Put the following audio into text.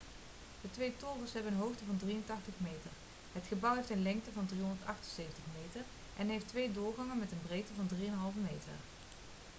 de twee torens hebben een hoogte van 83 meter het gebouw heeft een lengte van 378 meter en heeft twee doorgangen met een breedte van 3,50 meter